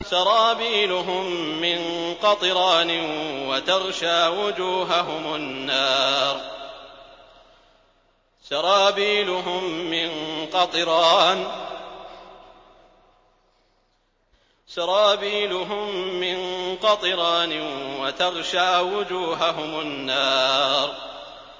سَرَابِيلُهُم مِّن قَطِرَانٍ وَتَغْشَىٰ وُجُوهَهُمُ النَّارُ